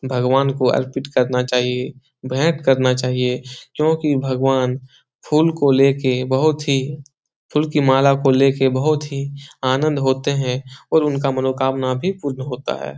भगवान को अर्पित करना चाहिए भेंट करना चाहिए क्योंकि भगवान फूल को लेके बहुत ही फूल की माला को लेके बहुत ही आनंद होते है और उनका मनोकामना भी पुर्ण होता है ।